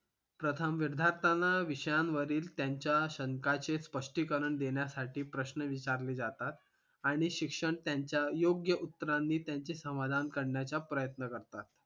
प्रथम विद्यार्थ्याना विषयांवरील त्यांच्या शंकांचे स्पष्टीकरण देण्यासाठी प्रश्न विचारले जातात आणि शिक्षण त्यांच्या योग्य उत्तरांनी त्यांचे समाधान करण्याचा प्रयत्न करतात